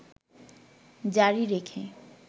জারি রেখে